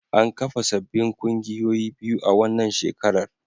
An kafa sabbin kungiyoyi biyu a wannan shekarar.